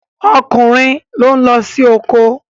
okunrin lón ló sì oko.